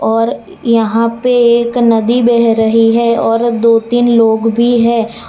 और यहां पे एक नदी बह रही है और दो तीन लोग भी हैं।